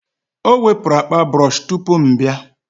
o wepụrụ akpa brọsh tupu m abịa